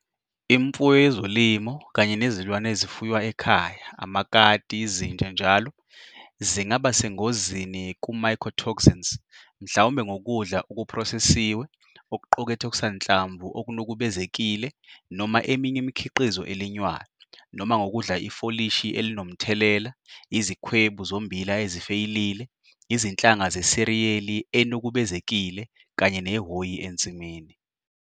Imfuyo yezolimo kanye nezilwane ezifuywa ekhaya, amakati, izinja njall, zingaba sengozini ku-mycotoxins mhlawumbe ngokudla okuphrosesiwe okuqukethe okusanhlamvu okunukuvbezekile noma eminye imikhiqizo elinywayo, noma ngokudla ifolishi elinomthelela, izikhwebu zommbila ezifeyilile, izinhlanga zeseriyeli enukubezekile kanye nehhoyi ensimini.